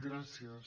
gràcies